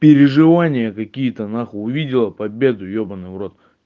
переживания какие то нахуй увидела победу ёбанный в рот